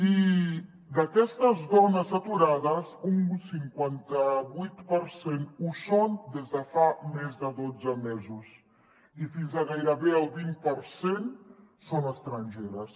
i d’aquestes dones aturades un cinquanta·vuit per cent ho són des de fa més de dotze mesos i fins a gairebé el vint per cent són estrangeres